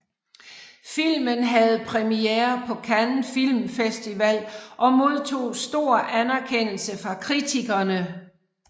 Filmen havde premiere på Cannes Film Festival og modtog stor anerkendelse fra kritikerne